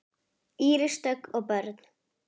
Íris Dögg og börn.